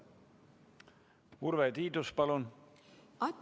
Urve Tiidus, palun!